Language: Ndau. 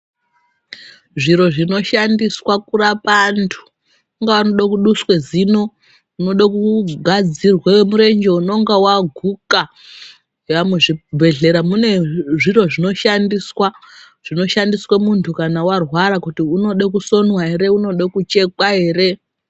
Zviro zvindoshandiswa kurapa antu ungawa unoda kuduswa zino unoda kugadzirwe murenjee unoga waguka muzvibhedhlera mune zviro zvinoshandiswa, zvinoshandiswa muntu kana warwara kuti unode kusonwa unode kuchekwa ere